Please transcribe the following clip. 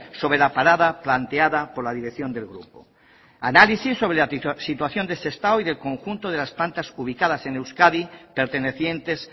sobre la parada planteada por la dirección del grupo análisis sobre la situación de sestao y del conjunto de las plantas ubicadas en euskadi pertenecientes